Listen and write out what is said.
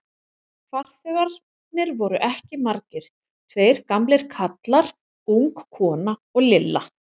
Farþegarnir voru ekki margir, tveir gamlir karlar, ung kona og Lilla.